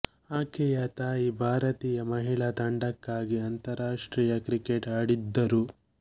ಆಕೆಯ ತಾಯಿ ಭಾರತೀಯ ಮಹಿಳಾ ತಂಡಕ್ಕಾಗಿ ಅಂತಾರಾಷ್ಟ್ರೀಯ ಕ್ರಿಕೆಟ್ ಆಡಿದ್ದರು